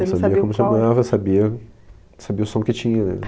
Eu sabia como chamava, sabia, sabia o som que tinha, né?